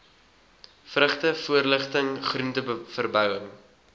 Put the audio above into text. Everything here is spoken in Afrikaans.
vrugte voorligting groenteverbouing